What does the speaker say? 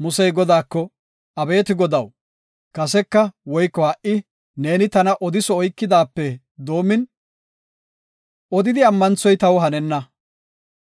Musey Godaako, “Abeeti Godaw, kaseka woyko ha77i ne tana odiso oykidaysafe doomin odidi ammanthoy taw hanenna.